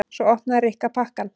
Svo opnaði Rikka pakkann.